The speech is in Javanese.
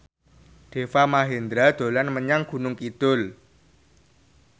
Deva Mahendra dolan menyang Gunung Kidul